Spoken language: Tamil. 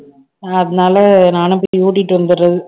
அதனால நானும் போய் ஊட்டிட்டு வந்துடுறது